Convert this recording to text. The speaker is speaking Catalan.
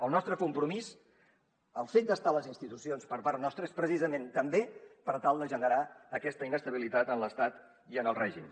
el nostre compromís el fet d’estar a les institucions per part nostra és precisament també per tal de generar aquesta inestabilitat en l’estat i en el règim